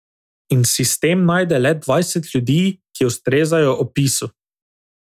In sistem najde le dvajset ljudi, ki ustrezajo opisu.